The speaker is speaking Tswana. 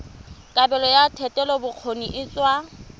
kabelo ya thetelelobokgoni e tsewa